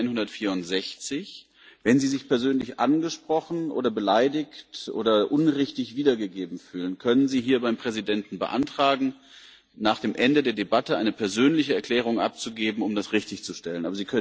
164. Wenn Sie sich persönlich angesprochen oder beleidigt oder unrichtig wiedergegeben fühlen, können Sie hier beim Präsidenten beantragen, nach dem Ende der Debatte eine persönliche Erklärung abzugeben, um das richtigzustellen.